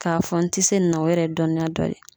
K'a fɔ n tɛ se nin na o yɛrɛ ye dɔnniya dɔ ye.